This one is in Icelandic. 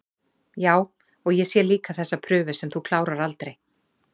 Já, og ég sé líka þessa prufu sem þú klárar aldrei